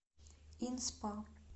ин спа